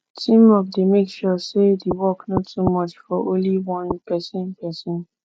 teamwork dey make sure say the work no too much for only one person person